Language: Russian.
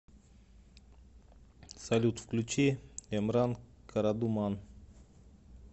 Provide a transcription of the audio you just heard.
салют включи эмран карадуман